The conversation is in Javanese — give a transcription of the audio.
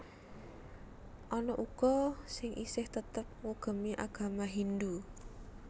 Ana uga sing isih tetep ngugemi agama Hindhu